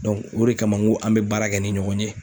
o de kama n ko an be baara kɛ ni ɲɔgɔn ye.